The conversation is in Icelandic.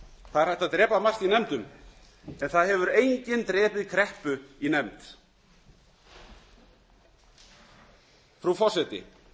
það er hægt að drepa margt í nefndum en það hefur enginn drepið kreppu í nefnd frú forseti